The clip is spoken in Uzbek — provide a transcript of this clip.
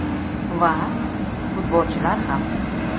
Va, futbolchilar ham.